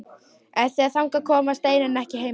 En þegar þangað kom var Steinunn ekki heima.